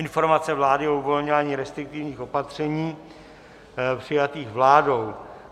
Informace vlády o uvolňování restriktivních opatření přijatých vládou